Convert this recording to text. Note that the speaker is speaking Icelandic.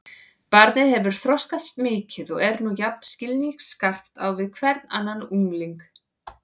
Barnið hefur þroskast mikið og er nú jafn skilningsskarpt á við hvern annan ungling.